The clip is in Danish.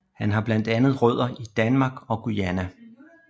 Han har blandt andet rødder i Danmark og Guyana